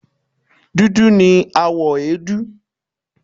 Dudu ni àwọ̀ èédú